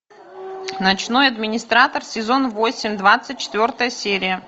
ночной администратор сезон восемь двадцать четвертая серия